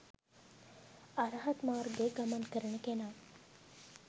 අරහත් මාර්ගයේ ගමන් කරන කෙනා